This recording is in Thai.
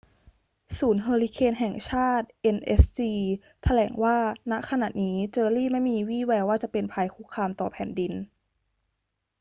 ศูนย์เฮอร์ริเคนแห่งชาติ nhc แถลงว่า ณ ขณะนี้เจอร์รี่ไม่มีวี่แววว่าจะเป็นภัยคุกคามต่อแผ่นดิน